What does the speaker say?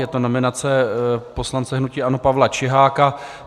Je to nominace poslance hnutí ANO Pavla Čiháka.